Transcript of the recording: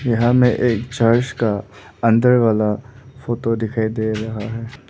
यहां में एक चर्च का अंदर वाला फोटो दिखाई दे रहा है।